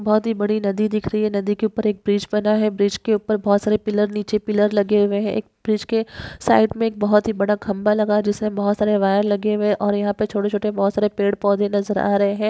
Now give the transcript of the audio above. बहुतही बड़ी नदी दिख रही है नदी के उपर एक ब्रिज बना है ब्रिज के ऊपर बहुत सारे पिल्लर नीचे पिल्लर लगे हुए है एक ब्रिज के साइड मे एक बहुत ही बड़ा खंबा लगा जिसमे बहुत सारे वायर लगे हुए है और यहा पे छोटे छोटे बहुत सारे पेड़ पौधे नज़र आ रहे है।